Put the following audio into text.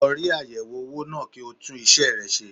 Lọ rí ayẹwo owó náà kí o tún isẹ rẹ ṣe.